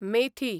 मेथी